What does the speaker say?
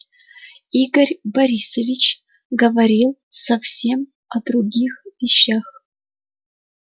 игорь борисович говорил совсем о других вещах